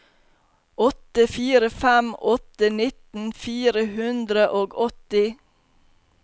åtte fire fem åtte nitten fire hundre og åtti